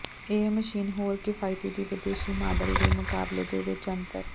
ਇਹ ਮਸ਼ੀਨ ਹੋਰ ਕਿਫਾਇਤੀ ਦੀ ਵਿਦੇਸ਼ੀ ਮਾਡਲ ਦੇ ਮੁਕਾਬਲੇ ਦੇ ਵਿੱਚ ਅੰਤਰ